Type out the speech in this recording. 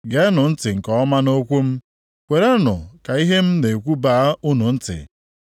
Geenụ ntị nke ọma nʼokwu m. Kwerenụ ka ihe m na-ekwu baa unu ntị.